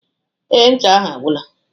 Ee, ncha ahụ agwụla